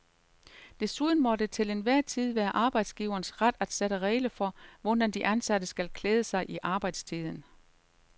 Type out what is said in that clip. Desuden må det til enhver tid være arbejdsgiverens ret at sætte regler for, hvordan de ansatte skal klæde sig i arbejdstiden.